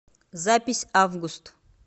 запись август